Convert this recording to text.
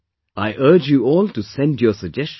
I urge you all to send your suggestions